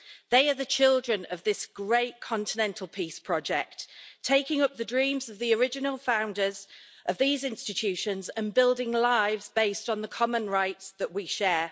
They are the children of this great continental peace project, taking up the dreams of the original founders of these institutions and building lives based on the common rights that we share.